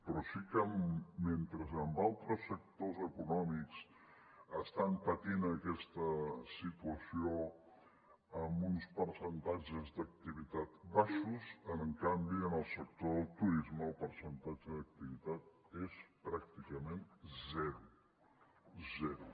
però sí que mentre en altres sectors econòmics estan patint aquesta situació amb uns percentatges d’activitat baixos en canvi en el sector del turisme el percentatge d’activitat és pràcticament zero zero